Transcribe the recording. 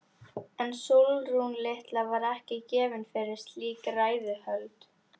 En Sólrún litla var ekki gefin fyrir slík ræðuhöld.